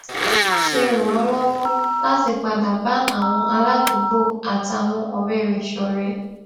ṣe ràn án lówó láti padà bá àwọn aládùúgbò àtàwọn òré rè ṣòré